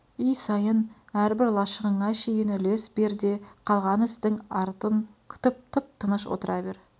үй сайын әрбір лашығыңа шейін үлес бер де қалған істің артын күтіп тып-тыныш отыра бер